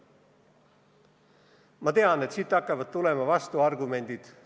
Ma tean, et siit hakkavad tulema vastuargumendid.